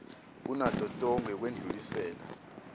kunato tonkhe yekwendlulisela